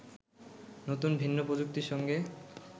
নতুন ভিন্ন প্রযুক্তির সঙ্গে